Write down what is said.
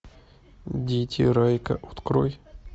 дети райка открой